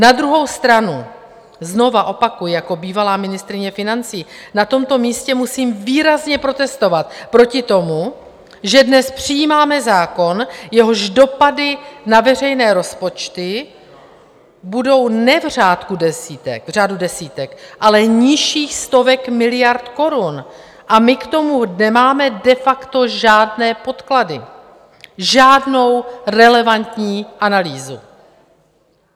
Na druhou stranu, znovu opakuji, jako bývalá ministryně financí na tomto místě musím výrazně protestovat proti tomu, že dnes přijímáme zákon, jehož dopady na veřejné rozpočty budou ne v řádu desítek, ale nižších stovek miliard korun, a my k tomu nemáme de facto žádné podklady, žádnou relevantní analýzu.